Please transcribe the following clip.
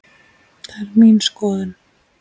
Það er mín skoðun.